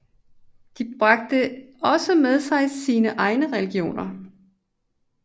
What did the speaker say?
De bragte også med sig sine egne religioner